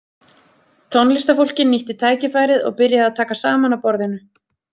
Tónlistarfólkið nýtti tækifærið og byrjaði að taka saman af borðinu.